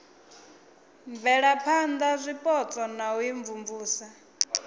bvelaphana zwipotso na u imvumvusa